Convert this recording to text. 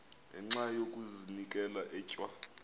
ngenxa yokazinikela etywa